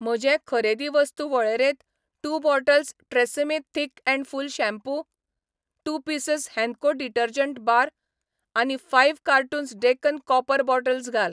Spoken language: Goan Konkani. म्हजे खरेदी वस्तू वळेरेंत two bottles Tresemme thick and full shampoo, two pieces Henko detergent bar आनी five cartons Deccan copper bottles घाल.